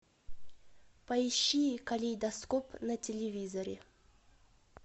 поищи калейдоскоп на телевизоре